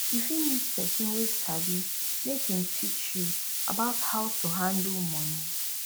you fit meet person wey sabi make im teach you about how to handle money